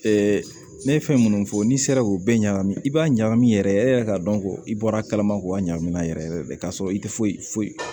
ne ye fɛn munnu fɔ n'i sera k'o bɛɛ ɲagami i b'a ɲagami yɛrɛ e yɛrɛ k'a dɔn ko i bɔra kalama k'o ɲagami n'a yɛrɛ yɛrɛ ka sɔrɔ i tɛ foyi